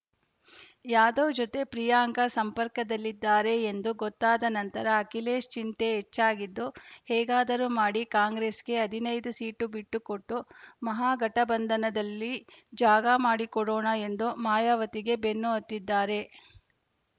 ಯಾದವ್‌ ಜೊತೆ ಪ್ರಿಯಾಂಕಾ ಸಂಪರ್ಕದಲ್ಲಿದ್ದಾರೆ ಎಂದು ಗೊತ್ತಾದ ನಂತರ ಅಖಿಲೇಶ್‌ ಚಿಂತೆ ಹೆಚ್ಚಾಗಿದ್ದು ಹೇಗಾದರೂ ಮಾಡಿ ಕಾಂಗ್ರೆಸ್‌ಗೆ ಹದಿನೈದು ಸೀಟು ಬಿಟ್ಟುಕೊಟ್ಟು ಮಹಾಗಠಬಂಧನದಲ್ಲಿ ಜಾಗ ಮಾಡಿಕೊಡೋಣ ಎಂದು ಮಾಯಾವತಿಗೆ ಬೆನ್ನುಹತ್ತಿದ್ದಾರೆ